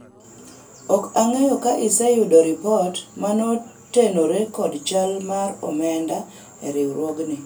ok ang'eyo ka iseyudo ripot motenore kod chal mar omenda e riwruogni